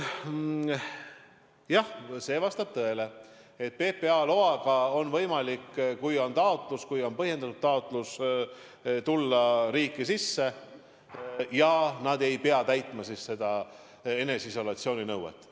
Jah, vastab tõele, et PPA loaga on võimalik, kui on on põhjendatud taotlus, tulla riiki sisse nii, et ei pea täitma eneseisolatsiooni nõuet.